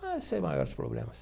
Mas sem maiores problemas.